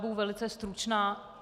Budu velice stručná.